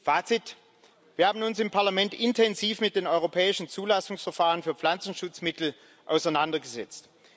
Fazit Wir haben uns im Parlament intensiv mit den europäischen Zulassungsverfahren für Pflanzenschutzmittel auseinandergesetzt.